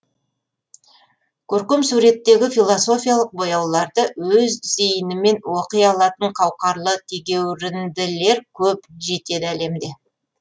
көркем суреттегі философиялық бояуларды өз зейінімен оқи алатын қауқарлы тегеуірінділер көп жетеді әлемде